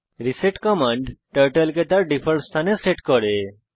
reset command turtle কে তার default স্থানে সেট করে